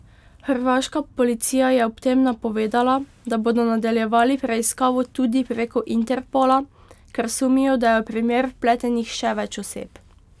Hrvaška policija je ob tem napovedala, da bodo nadaljevali preiskavo tudi preko Interpola, ker sumijo, da je v primer vpletenih še več oseb.